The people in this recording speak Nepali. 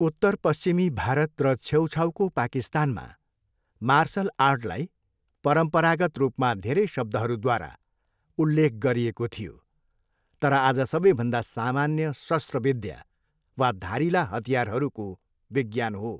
उत्तरपश्चिमी भारत र छेउछाउको पाकिस्तानमा मार्सल आर्टलाई परम्परागत रूपमा धेरै शब्दहरूद्वारा उल्लेख गरिएको थियो, तर आज सबैभन्दा सामान्य शस्त्र विद्या वा धारिला हतियारहरूको विज्ञान हो।